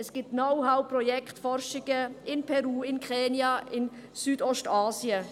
Es gibt Know-how, Projekte und Forschungen in Peru, Kenia und Südostasien.